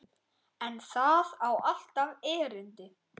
En það á alltaf erindi.